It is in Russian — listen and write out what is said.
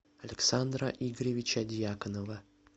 александра игоревича дьяконова